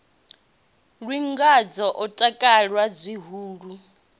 lwi ngazwo o takala zwihulu